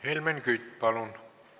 Helmen Kütt, palun!